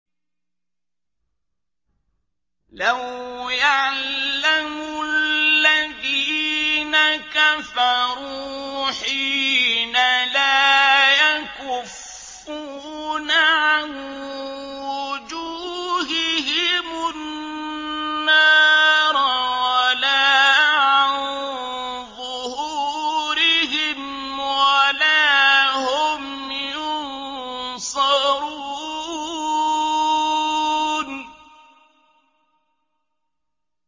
لَوْ يَعْلَمُ الَّذِينَ كَفَرُوا حِينَ لَا يَكُفُّونَ عَن وُجُوهِهِمُ النَّارَ وَلَا عَن ظُهُورِهِمْ وَلَا هُمْ يُنصَرُونَ